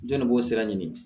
Jɔn de b'o sira ɲini